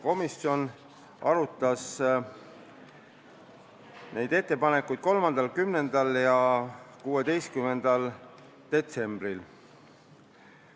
Komisjon arutas neid ettepanekuid 3., 10. ja 16. detsembril.